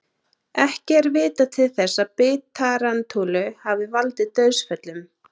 Ekki er vitað til þess að bit tarantúlu hafi valdið dauðsföllum.